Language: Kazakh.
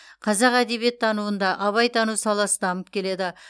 қазақ әдебиеттануында абайтану саласы дамып келеді